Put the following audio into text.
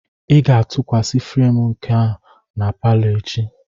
Ị ga-atụkwasị frem nka na palo echi.